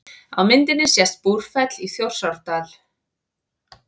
Á myndinni sést Búrfell í Þjórsárdal.